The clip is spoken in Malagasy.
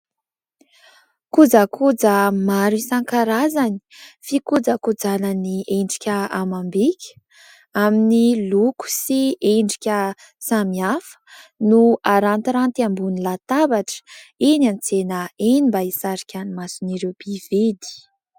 Kojakoja maro isan-karazany fikojakojana ny endrika amam-bika amin'ny loko sy endrika samihafa no arantiranty ambony latabatra eny an-tsena eny mba hisarika ny mason'ireo mpividy.